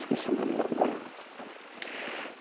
Esqueci o nome lá do bairro.